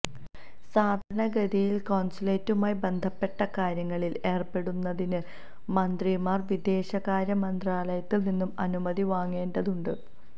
സാധാരണഗതിയില് കോണ്സുലേറ്റുമായി ബന്ധപ്പെട്ട കാര്യങ്ങളില് ഏര്പ്പെടുന്നതിന് മന്ത്രിമാര് വിദേശകാര്യമന്ത്രാലയത്തില് നിന്നും അനുമതി വാങ്ങേണ്ടതുണ്ട്